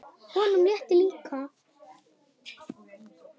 Honum létti líka.